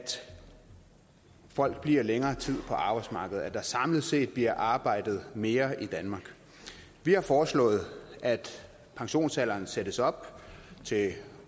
folk bliver længere tid på arbejdsmarkedet at der samlet set bliver arbejdet mere i danmark vi har foreslået at pensionsalderen sættes op til